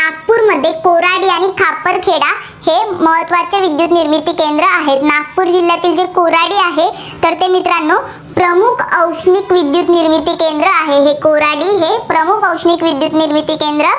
नागपूरमध्ये कोराडी आणि खापरखेड हे महत्त्वाचे विद्युत निर्मिती केंद्र आहेत. नागपूर जिल्ह्यातील जे कोराडी आहे, तर ते मित्रांनो प्रमुख औष्णिक विद्युत निर्मिती केंद्र आहे. कोराडी हे प्रमुख औष्णिक विद्युत निर्मिती केंद्र